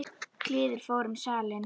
kliður fór um salinn.